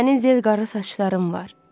Sənin zil qara saçların var.